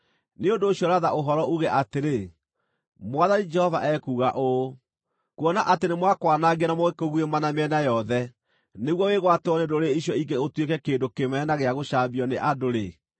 Nĩ ũndũ ũcio ratha ũhoro uuge atĩrĩ, ‘Mwathani Jehova ekuuga ũũ: Kuona atĩ nĩmakwanangire na magĩkũguĩma na mĩena yothe nĩguo wĩgwatĩrwo nĩ ndũrĩrĩ icio ingĩ ũtuĩke kĩndũ kĩmene na gĩa gũcambio nĩ andũ-rĩ,